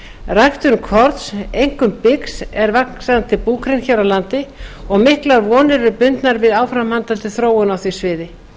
ræktun korns einkum byggs er vaxandi búgrein hér á landi og miklar vonir eru bundnar við áframhaldandi þróun á því sviði